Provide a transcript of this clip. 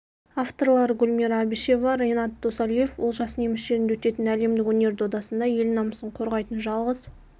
авторлары гүлмира әбішева ренат досалиев олжас неміс жерінде өтетін әлемдік өнер додасында ел намысын қорғайтын жалғыз